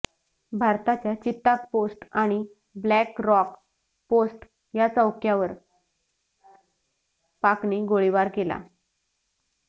भारताच्या चिताक पोस्ट आणि black rock post या चौक्यावर पाकने गोळीबार केला